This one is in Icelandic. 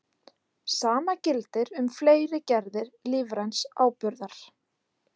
Sama gildir um fleiri gerðir lífræns áburðar.